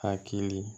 Hakili